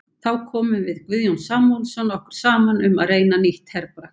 Þá komum við Guðjón Samúelsson okkur saman um að reyna nýtt herbragð.